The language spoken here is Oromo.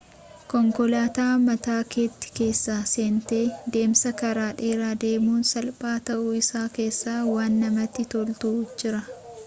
konkolaata mataa keetii keessa seentee deemsa karaa dheeraa deemuun salphaa ta'uu isaa keessa waan namatti tolutu jira